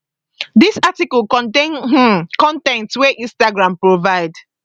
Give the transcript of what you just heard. dis article contain um con ten t wey instagram provide